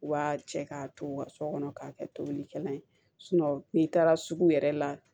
U b'a cɛ k'a to u ka so kɔnɔ k'a kɛ tobilikɛla ye n'i taara sugu yɛrɛ la